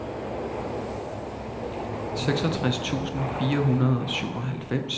seksogtres tusind fire hundrede og syvoghalvfems